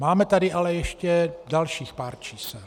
Máme tady ale ještě dalších pár čísel.